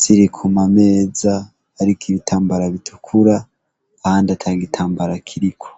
ziri ku mameza ariko ibitambara bitukura, ahandi atagitambara kiriko.